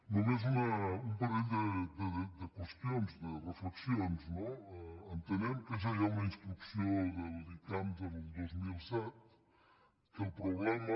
només un parell de qüestions de reflexions no entenem que ja hi ha una instrucció de l’icams del dos mil set que el problema